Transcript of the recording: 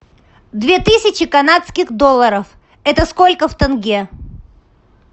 две тысячи канадских долларов это сколько в тенге